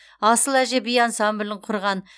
асыл әже би ансамблін құрған